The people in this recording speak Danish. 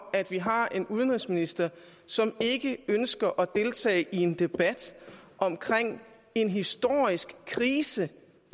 at vi har en udenrigsminister som ikke ønsker at deltage i en debat om en historisk krise